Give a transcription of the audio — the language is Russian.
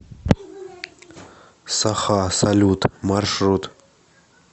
саха салют маршрут